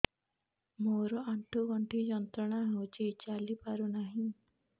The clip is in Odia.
ମୋରୋ ଆଣ୍ଠୁଗଣ୍ଠି ଯନ୍ତ୍ରଣା ହଉଚି ଚାଲିପାରୁନାହିଁ